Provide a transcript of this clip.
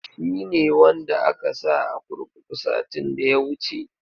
Shi ne wanda aka sa a kurkuru satin da ya wuce.